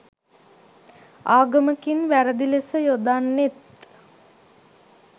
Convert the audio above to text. ආගමකින් වැරදි ලෙස යොදන්නෙත්